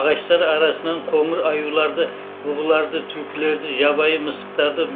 ағаштар арасынан қоңыр аюларды бұғыларды түлкілерді жабайы мысықтарды